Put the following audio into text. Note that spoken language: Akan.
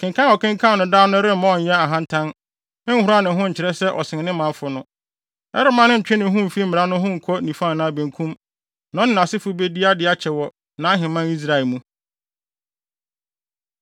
Kenkan a ɔkenkan no daa no remma ɔnyɛ ahantan, nhoran ne ho nkyerɛ sɛ ɔsen ne manfo no. Ɛremma no ntwe ne ho mfi mmara no ho nkɔ nifa anaa benkum. Na ɔne nʼasefo bedi ade akyɛ wɔ nʼaheman Israel mu.